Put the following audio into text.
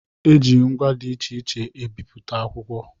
E ji ngwa dị iche iche e bipụta akwụkwọ.